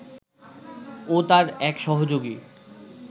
ও তার এক সহযোগী